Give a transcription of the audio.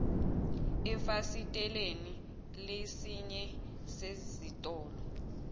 efasiteleni lesinye sezitolo